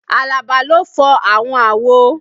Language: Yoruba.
Alaba ló fọàwọn àwo